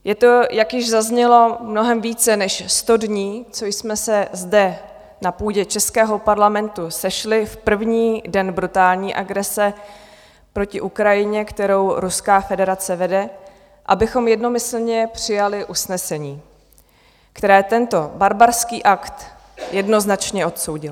Je to, jak již zaznělo, mnohem více než sto dní, co jsme se zde na půdě českého Parlamentu sešli v první den brutální agrese proti Ukrajině, kterou Ruská federace vede, abychom jednomyslně přijali usnesení, které tento barbarský akt jednoznačně odsoudilo.